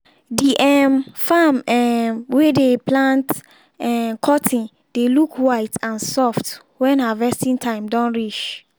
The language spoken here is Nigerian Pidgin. d um farm um wey dey plant um cotton dey look white and soft wen harvesting time don reach.